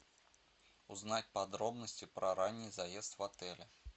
узнать подробности про ранний заезд в отеле